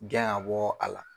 Gɛn ga bɔ a la